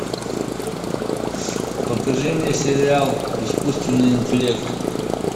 покажи мне сериал искусственный интеллект